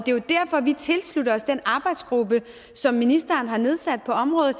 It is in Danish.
vi tilslutter os den arbejdsgruppe som ministeren har nedsat på området